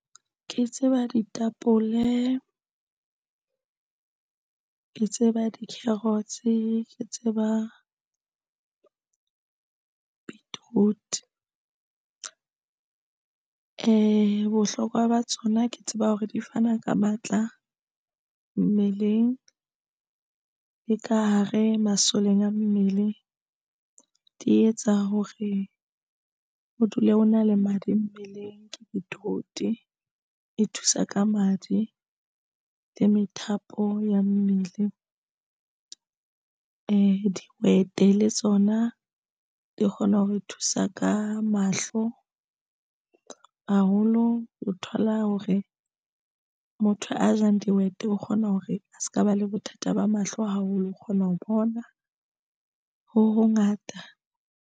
Ke tseba ditapole ke tseba di-carrots ke tseba beetroot bohlokwa ba tsona ke tseba hore di fana ka matla mmeleng le ka hare masoleng a mmele, di etsa hore o dule ke o na le madi mmeleng ke beetroot e thusa ka madi le methapo ya mmele e dihwete le tsona di kgona hore thusa ka mahlo haholo. O thola hore motho a jang dihwete, o kgona hore a se ka ba le bothata ba mahlo haholo o kgona ho bona ho hongata.